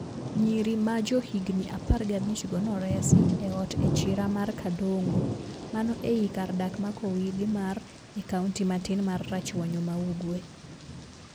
Nyiri majohigni apar gabich go noresi eot echira mar Kadongo. Mano ei kar dak ma Kowidi mar, e kaunti matin mar Rachuonyo maugwe.